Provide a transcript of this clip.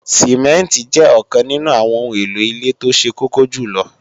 Sìmẹ́ǹtì jẹ́ ọ̀kan nínú àwọn ohun èlò ilé tó ṣe kókó jùlọ